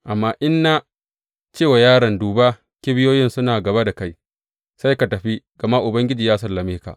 Amma in na ce wa yaron, Duba, kibiyoyin suna gaba da kai,’ sai ka tafi, gama Ubangiji ya sallame ka.